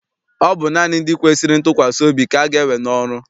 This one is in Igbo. Ọ bụ naanị ndị kwesịrị ntụkwasị obi ka aga ewe n'ọrụ.